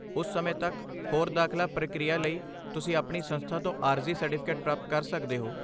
ਉਸ ਸਮੇਂ ਤੱਕ, ਹੋਰ ਦਾਖਲਾ ਪ੍ਰਕਿਰਿਆ ਲਈ, ਤੁਸੀਂ ਆਪਣੀ ਸੰਸਥਾ ਤੋਂ ਆਰਜ਼ੀ ਸਰਟੀਫਿਕੇਟ ਪ੍ਰਾਪਤ ਕਰ ਸਕਦੇ ਹੋ।